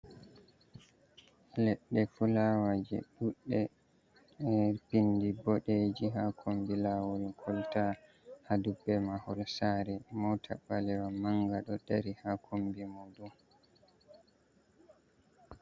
Leɗɗe fulawa je duɗɗe pindi bodeji ha kombi lawol kolta ha dubbe mahol sare mota balewa manga do dari ha kombi mahol.